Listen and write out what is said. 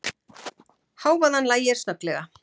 Hávaðann lægir snögglega.